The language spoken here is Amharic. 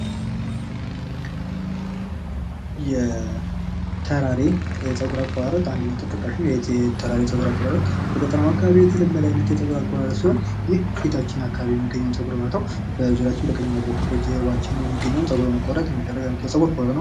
የተራሬ የፀጉር አቆራረጥ የተራሬ የፀጉር አቆራረጥ አንደኛው ተጠቃሽ ነው። የተራሬ የፀጉር አቆራረጥ በገጠራማው አካባቢ የተለመደ አይነት የፀጉር አቆራረጥ ሲሆን ይህም ፊታችን አካባቢ የሚገኘውን ፀጉር በመተው በዙሪያችን በቀኝ እና ጀርባችን የሚገኘውን ፀጉር በመቆረጥ የሚደረግ የፀጉር ቁርጥ ነው።